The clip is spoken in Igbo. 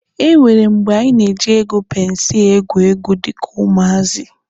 E nwere mgbe anyị na-eji ego pensi egwu egwu dịka ụmụazị.